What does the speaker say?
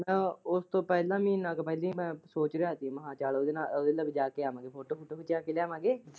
ਉਸ ਤੋਂ ਪਹਿਲਾਂ ਮਹੀਨਾ ਇੱਕ ਪਹਿਲਾਂ ਸੋਚ ਰਿਹਾ ਹੀਗਾ ਕਿ ਓਦੇ ਨਾਲ, ਓਦੇ ਨਾਲ ਜਾ ਕੇ ਆਉਂਦੇ ਤੇ ਫੋਟੋ ਫੁਟੋ ਖਿਚਾ ਕੇ ਲਿਆਵਾਂਗੇ।